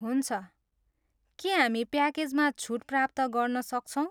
हुन्छ। के हामी प्याकेजमा छुट प्राप्त गर्न सक्छौँ?